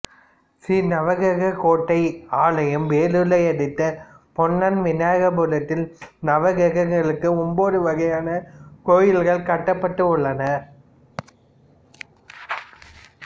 ஸ்ரீ நவக்கிரக கோட்டை ஆலயம் வேலூரை அடுத்த பொன்னை விநாயகபுரத்தில் நவரக்கிரங்களுக்கு ஒன்பது வகையான கோயில்கள் கட்டப்பட்டு உள்ளன